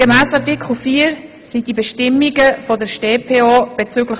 Gemäss Artikel 4 sind die Bestimmungen der Strafprozessordnung(stopp) bezüglich